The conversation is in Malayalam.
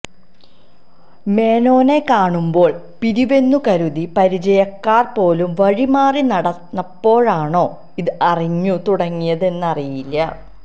മേനോനെ കാണുമ്പോള് പിരിവെന്നു കരുതി പരിചയക്കാര് പോലും വഴിമാറി നടന്നപ്പോഴാണോ ഇത് അറിഞ്ഞുതുടങ്ങിയതെന്ന് അറിയില്ല